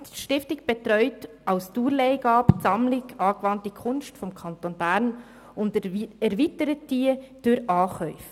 die Stiftung betreut als Dauerleihgabe die «Sammlung angewandte Kunst» des Kantons Bern und erweitert diese durch Ankäufe.